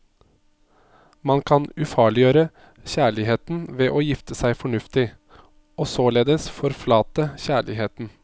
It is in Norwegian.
Man kan ufarliggjøre kjærligheten ved å gifte seg fornuftig, og således forflate kjærligheten.